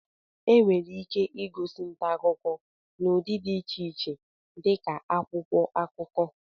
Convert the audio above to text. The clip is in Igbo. Enwere ike ịgosi nta akụkọ n'ụdị dị iche iche dị ka akwụkwọ akụkọ